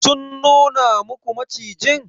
Sun nuna muku macijin?